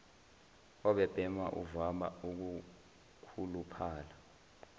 obebhema uvama ukukhuluphala